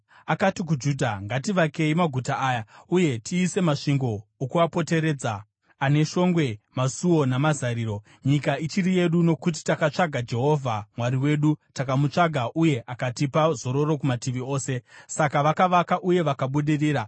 Akati kuJudha, “Ngativakei maguta aya, uye tiise masvingo okuapoteredza, ane shongwe, masuo namazariro. Nyika ichiri yedu, nokuti takatsvaga Jehovha Mwari wedu; takamutsvaga uye akatipa zororo kumativi ose.” Saka vakavaka uye vakabudirira.